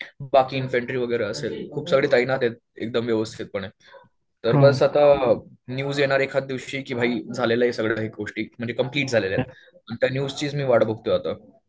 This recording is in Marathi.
इन्फेन्ट्री वगैरे असेल खूप सगळे तैनात आहेत एकदम व्यवस्थितपणे. तर बस आता न्यूज येणार एखादया दिवशी की भाई झालेल्या आहेत सगळ्या गोष्टी. म्हणजे कम्प्लिट झालेलं आहे आणि त्या न्यूजचीच मी वाट बघतोय आता.